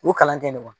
U kalan tɛ ne ma